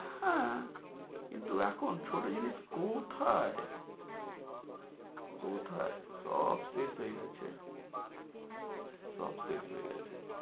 হ্যাঁ কিন্তু এখন ছোট জিনিস কোথায়? কোথায়? সব শেষ হয়ে গেছে সব শেষ হয়ে গেছে।